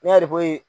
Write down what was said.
Ne y'a ko